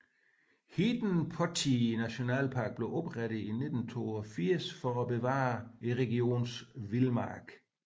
Hiidenportti Nationalpark blev oprettet i 1982 for at bevare regionens vildmark